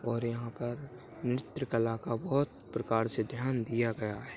-- और यह पर नृत्य कला का बहुत प्रकार से ध्यान दिया गया है।